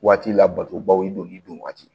Waati labatobaw i donli don waati